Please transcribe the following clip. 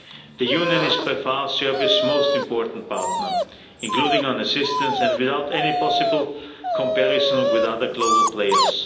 The Union is by far Serbia's most important partner, including on assistance, and without any possible comparison with other global players.